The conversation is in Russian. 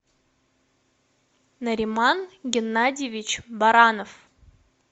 нариман геннадьевич баранов